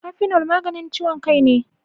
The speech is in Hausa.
Kafinol maganin ciyon kai ne.